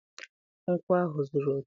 nkwụ ahụ zuru oke.